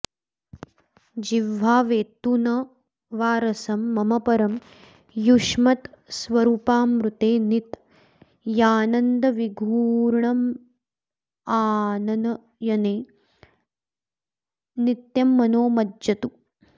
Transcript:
जिह्वा वेत्तु न वा रसं मम परं युष्मत्स्वरूपामृते नित्यानन्दविघूर्णमाननयने नित्यं मनो मज्जतु